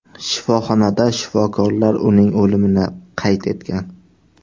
Shifoxonada shifokorlar uning o‘limini qayd etgan.